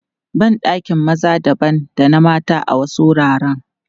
Ban ɗakin maza dabam da na mata a wasu wuraren.